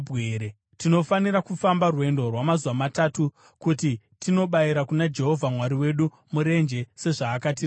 Tinofanira kufamba rwendo rwamazuva matatu kuti tinobayira kuna Jehovha Mwari wedu murenje, sezvaakatirayira.”